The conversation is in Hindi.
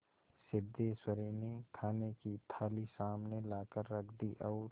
सिद्धेश्वरी ने खाने की थाली सामने लाकर रख दी और